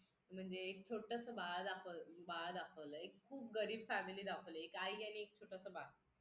म्हणजे एक छोटंसं बाळ दाखवलंय खूप गरीब family दाखवलंय. एक आई आणि एक छोटंसं बाळ.